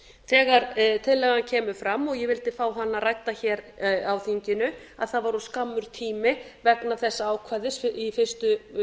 þegar tillagan kemur fram og ég vildi fá hana rædda hér á þinginu að það var of skammur tími vegna þessa ákvæðis í fyrstu